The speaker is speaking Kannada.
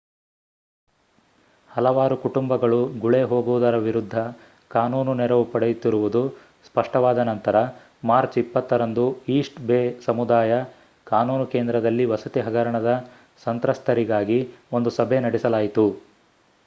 ಹಲವಾರು ಕುಟುಂಬಗಳು ಗುಳೆ ಹೋಗುವುದರ ವಿರುದ್ಧ ಕಾನೂನು ನೆರವು ಪಡೆಯುತ್ತಿರುವುದು ಸ್ಪಷ್ಟವಾದ ನಂತರ ಮಾರ್ಚ್ 20 ರಂದು ಈಸ್ಟ್ ಬೇ ಸಮುದಾಯ ಕಾನೂನು ಕೇಂದ್ರದಲ್ಲಿ ವಸತಿ ಹಗರಣದ ಸಂತ್ರಸ್ತರಿಗಾಗಿ ಒಂದು ಸಭೆ ನಡೆಸಲಾಯಿತು